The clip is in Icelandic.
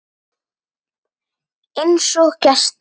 Einsog gestir.